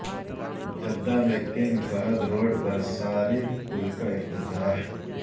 Jeddah میں King Fahd Road پر صاری پل کا افتتاح